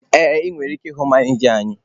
Ee, ị nwere ike ịhụ manịja anyị.